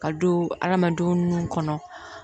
Ka don hadamadenw nun kɔnɔ